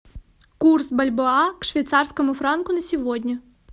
курс бальбоа к швейцарскому франку на сегодня